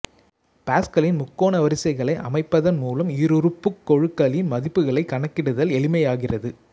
பாசுகலின் முக்கோண வரிசைகளை அமைப்பதன் மூலம் ஈருறுப்புக் கெழுக்களின் மதிப்புகளைக் கணக்கிடுதல் எளிமையாகிறது